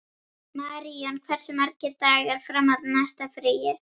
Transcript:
Maríon, hversu margir dagar fram að næsta fríi?